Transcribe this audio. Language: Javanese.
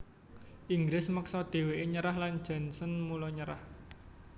Inggris meksa dhèwèké nyerah lan Janssens mula nyerah